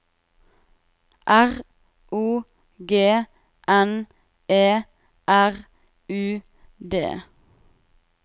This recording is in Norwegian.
R O G N E R U D